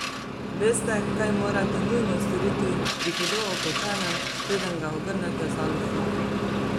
Veste, kaj morate nujno storiti pri hudo opečenem, preden ga ogrnete z alufolijo?